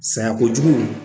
Saya kojugu